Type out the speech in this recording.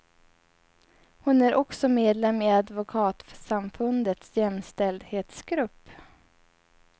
Hon är också medlem i advokatsamfundets jämställdhetsgrupp.